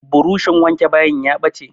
Buroshin wanke bayin ya ɓace.